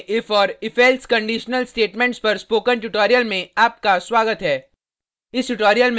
Perl में if और ifelse conditional statements पर स्पोकन ट्यूटोरियल में आपका स्वागत है